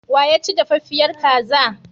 Wa ya ci dafaffiyar kaza?